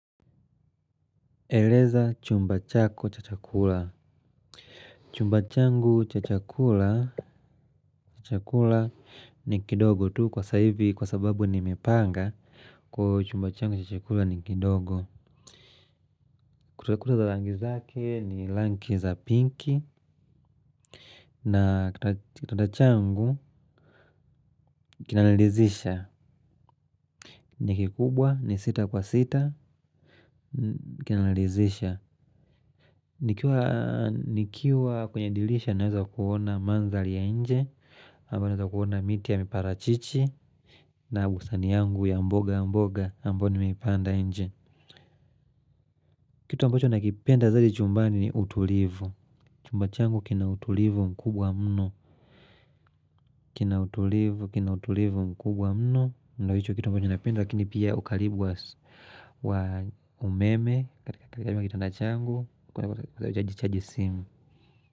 Eleza chumba chako cha chakula. Chumba changu cha chakula, ni kidogo tu kwa saivi kwa sababu nimepanga, kwa chumba changu cha chakula ni kidogo. Kutakuta za langi zake ni langi za pinki na, kitanda changu, kinalalizisha. Ni kikubwa ni sita kwa sita, kinalizisha. Nikiwa kwenye dilisha naweza kuona manzali ya nje. Ama naweza kuona miti yamiparachichi. Na usani yangu ya mboga mboga, ambao, nimeipanda nje kitu ambacho nakipenda zaidi chumbani, ni utulivu. Chumbachangu kina utulivu mkubwa mno. Kina utulivu kina utulivu mkubwa mno, ndo hicho kitu ambacho napenda lakini pia, ukalibu wa umeme, katika kitanda changu kwaweza jichaji simu.